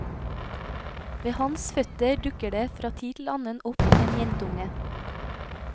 Ved hans føtter dukker det fra tid til annen opp en jentunge.